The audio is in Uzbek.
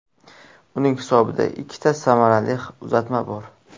Uning hisobida ikkita samarali uzatma bor.